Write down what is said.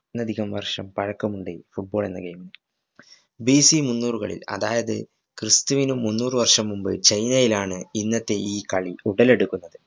ന്നിലതികം വര്‍ഷം പഴക്കമുണ്ട് football എന്ന game ന്. B. C മുന്നൂറുകളില്‍ അതായത് ക്രിസ്തുവിനും മുന്നൂറ് വര്‍ഷം മുന്‍പ് ചൈനയിലാണ് ഇന്നത്തെ ഈ കളി ഉടലെടുക്കുന്നത്.